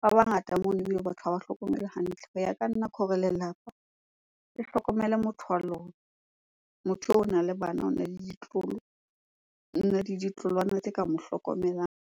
ba bangata monono, batho ha ba hlokomelwe hantle. Ho ya ka nna ke hore lelapa le hlokomele motho wa lona, motho eo ona le bana, ona le ditloholo, ona le ditloholwana tse ka mo hlokomelang.